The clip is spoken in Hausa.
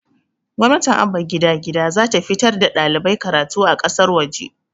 gwamnatin abba gida gida zata fitar da ɗalibai karatu a ƙasar waje